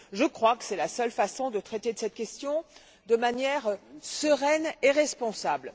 Je crois que c'est la seule façon de traiter cette question de manière sereine et responsable.